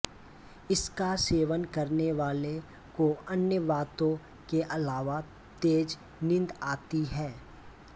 इसका सेवन करने वाले को अन्य बातों के अलावा तेज नींद आती है